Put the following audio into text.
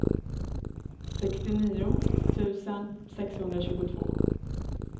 sextionio tusen sexhundratjugotvå